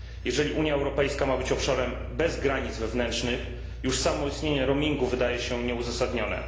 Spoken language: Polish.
Jeżeli Unia Europejska ma być obszarem bez granic wewnętrznych, już samo istnienie roamingu wydaje się być nieuzasadnione.